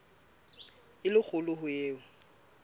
e le kgolo ho eo